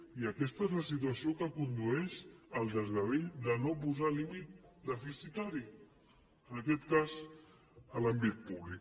i aquesta és la situació a què condueix el desgavell de no posar límit deficitari en aquest cas a l’àmbit públic